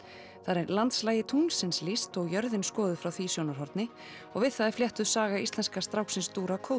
þar er landslagi tunglsins lýst og jörðin skoðuð frá því sjónarhorni og við það er fléttuð saga íslenska stráksins